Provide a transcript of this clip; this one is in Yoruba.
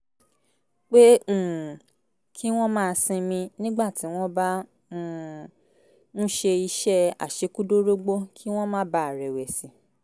pé um kí wọ́n máa sinmi nígbà tí wọ́n bá um ń ṣe iṣẹ́ àṣekúdórógbó kí wọ́n má bàa rẹ̀wẹ̀sì